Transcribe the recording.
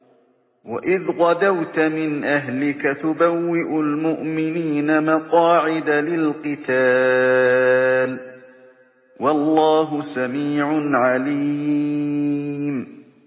وَإِذْ غَدَوْتَ مِنْ أَهْلِكَ تُبَوِّئُ الْمُؤْمِنِينَ مَقَاعِدَ لِلْقِتَالِ ۗ وَاللَّهُ سَمِيعٌ عَلِيمٌ